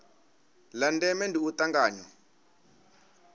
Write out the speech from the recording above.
la ndeme ndi u tanganywa